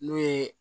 N'o ye